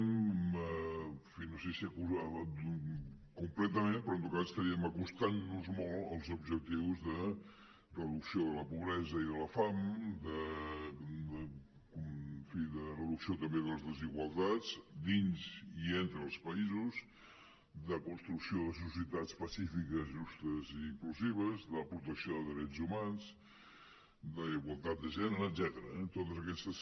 en fi no sé si completament però en tot cas estaríem acostant nos molt als objectius de reducció de la pobresa i de la fam de reducció també de les desigualtats dins i entre els països de construcció de societats pacífiques justes i inclusives de protecció de drets humans d’igualtat de gènere etcètera eh totes aquestes